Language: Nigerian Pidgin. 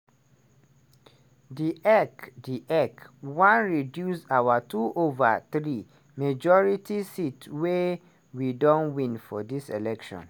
"di ec "di ec wan reduce our 2/3 majority seats wey we don win for dis election.